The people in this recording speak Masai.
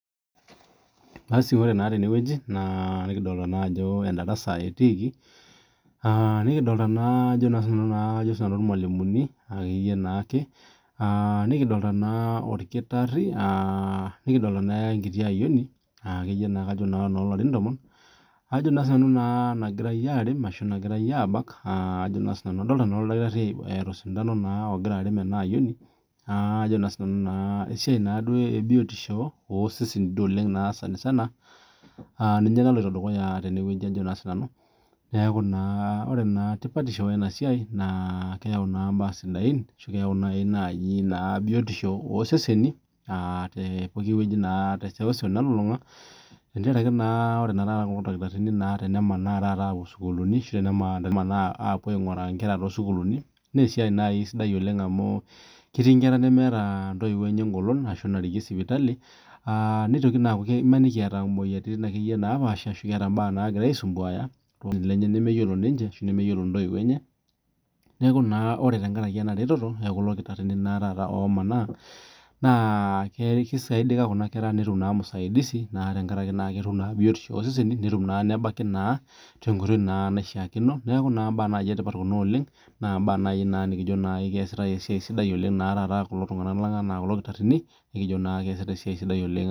Basi ore naa teneweji naa nikidolita naa ajo endarasa naa etiiki, nikidolita naa ajo si nanu ilmalumuni ake iyie naake naa nikidolita naa olkitari, nikidolita naa enkiti ayuoni naake iyie na kajo nanu noo larin tomon, ajo naa si nanu naa nagirai aarep ashu nagirai aabak ajo naa si nanu idolita naa olkitari eyau sintanu naa ogira aren ena ayioni ajo naa sii nanu naa esiai naa duo ebiotisho osesen duo oleng naa sanisana naloto dukuya tenewueji ajo naa sii nanu, naaku naa ore tipatisho ena siai naa keyau naa imbaa sidain ashu nai naaji naa biotisho oseseni te pooki weji naa te seuseu nalulunga tengaraki naa ore naa kulo ilkitarini naa tenamanaa taata aapuo sukuulini ashu emanaa aapuo ainguraa inkera too sukuulini naa esiai nai sidai oleng amuu ketii intera nemeeta intoiwo enye ingolon aashu narikie sipitali ,neitoki naa aaku maniki eeta imoyiaritin ake iyie napaasha ashu keeta imbaa naagira aisumbuaya nemeyiolo ninche ashu nemeyiolo ntoiwuo enye, naaku naa ore tengaraki ena erereto ookulo ilkitarini naa taata omanaa naa keisaidila kuna kera netuma naa musaidisi naa tengaraki naa ketum naa biotisho oseseni netum naa te nkoitoi naa naishaakino naaku naa imbaa etipata kuna oleng naa imbaa nai naa nikijoki naa kesidai esiai sidai naa taata to kulo tungana lang anaa kulo ilkitarini nikijo naake keasita esiai sidai oleng.